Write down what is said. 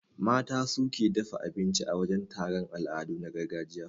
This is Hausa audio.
Mata su suke dafa abinci a wajan taron al'adu na gargajiya.